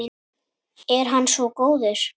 Er hann svo góður?